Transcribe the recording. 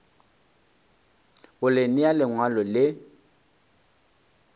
go le nea lengwalo le